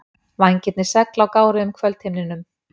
Vængirnir segl á gáruðum kvöldhimninum.